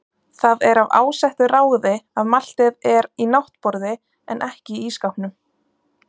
Það er af ásettu ráði að maltið er í náttborði en ekki í ísskápnum.